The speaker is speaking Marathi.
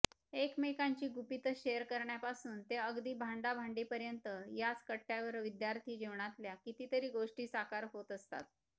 एकमेकांची गुपितं शेअर करण्यापासून ते अगदी भांडाभांडीपर्यंत याच कट्टयावर विद्यार्थीजीवनातल्या कितीतरी गोष्टी साकार होत असतात